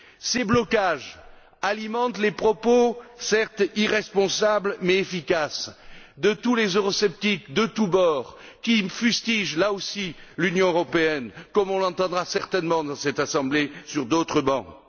Ces blocages alimentent les propos, certes irresponsables, mais efficaces, de tous les eurosceptiques de tout bord qui fustigent, là aussi, l'Union européenne, comme on l'entendra certainement dans cette Assemblée sur d'autres bancs.